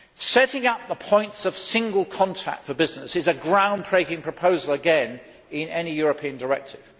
Setting up the points of single contact for business is a ground breaking proposal, again, in any European directive.